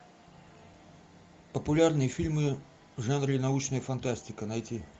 популярные фильмы в жанре научная фантастика найти